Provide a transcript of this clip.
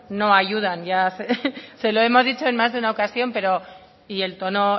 no ayudan ya se lo hemos dicho en más de una ocasión pero y el tono